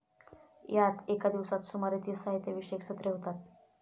यात एका दिवसात सुमारे तीस साहित्य विषयक सत्रे होतात.